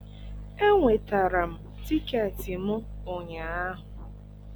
enwetara m tiketi m ụnyaahụ